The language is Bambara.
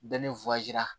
Bɛɛ ni